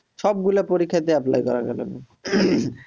সবগুলা পরীক্ষা তে apply করা গেল